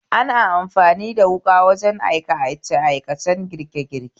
Ana amfani da wuƙa wajen aikace aikacen girke girke.